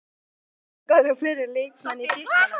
Voruð þið að skoða fleiri leikmenn í Þýskalandi?